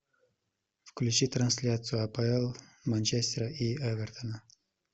включи трансляцию апл манчестера и эвертона